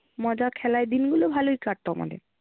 মজা খেলায় দিনগুলো ভালই কাটতো আমাদের।